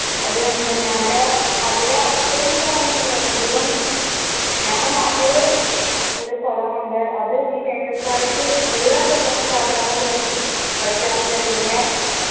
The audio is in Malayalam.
അതെ ഉണ്ട് ഞങ്ങടെ അവിടെ അടുത്ത് എന്ന് പറയുന്നില്ല എങ്കിലും ഞങ്ങടെ നാട്ടില് ഒരു കൊളം ഉണ്ട് അത് ഈ വേനക്കാലത്ത് എല്ലാ കൊല്ലവു അത് സാധാരണ വറ്റി വാടാറുണ്ട് പിന്നെ